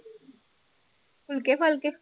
ਫੁਲਕੇ ਫਾਲਕੇ